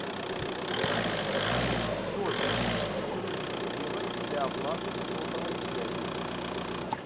джой что нужно сделать для оплаты сотовой связи